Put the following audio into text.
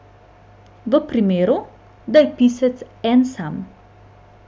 V primeru, da je pisec en sam.